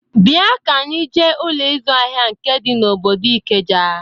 Bịa ka anyị jee Ụlọ ịzụ ahịa nke dị n'obodo Ikeja!